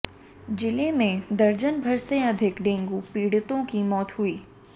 जिले में दर्जन भर से अधिक डेंगू पीड़ितों की मौत हुई